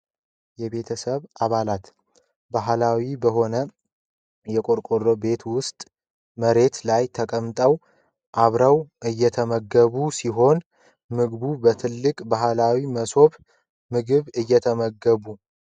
የቤተሰብ አባላት ባህላዊ በሆነ ቆርቆሮ ቤት ውስጥ መሬት ላይ ተቀምጠው አብረው ሲመገቡ ። ምግቡ በትልቅ ባህላዊ ሞሰብ ምግብ እየተመገቡ ።